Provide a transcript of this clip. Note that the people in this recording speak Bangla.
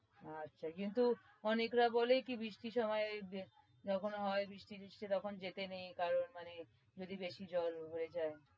আচ্ছা কিন্তু অনেকরা বলে কি বৃষ্টির সময় কি ওখানে হয় বৃষ্টি ফিস্তি তাই তখন যেতে নেই মানে যদি বেশী জল হয়ে যায়।